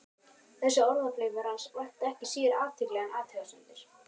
Þessi orðaflaumur hans vakti ekki síður athygli en athugasemdir